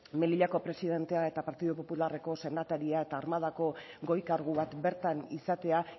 melillako presidentea eta partidu popularreko senataria eta armadako goi kargu bat bertan izatea